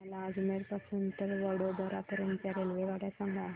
मला अजमेर पासून तर वडोदरा पर्यंत च्या रेल्वेगाड्या सांगा